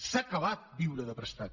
s’ha acabat viure de prestat